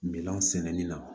Minɛnw sɛnɛni na